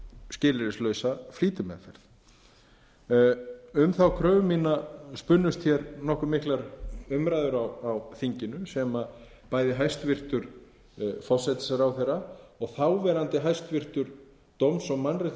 skilyrðislausa flýtimeðferð um þá kröfu mína spunnust nokkuð miður umræður á þinginu sem bæði hæstvirtan forsætisráðherra og þáverandi hæstvirts dóms og mannréttindaráðherra